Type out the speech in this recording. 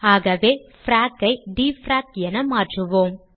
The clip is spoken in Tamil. ஆகவே பிராக் ஐ டிஎஃப்ஆரேக் என மாற்றுவோம்